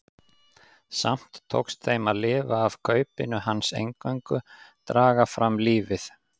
Samt tókst þeim að lifa af kaupinu hans eingöngu, draga fram lífið.